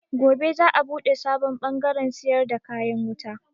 Gobe za a buɗe sabon bangaren siyar da kayan wuta.